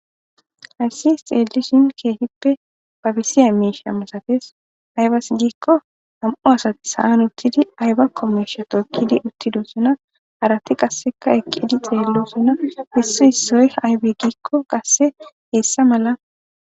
hayssis xeelishin keehippe babisiya miisha masates aybas giikko nam7u asati sa7an uttidi ayba kommesha tookkidi uttido suna harati qasseka eqidi xeello suna hissu issoy aybe giikko qasse heessa mala